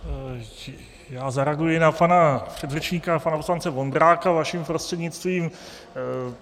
Já zareaguji na pana předřečníka, pana poslance Vondráka, vaším prostřednictvím.